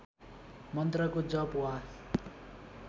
मन्त्रको जप वा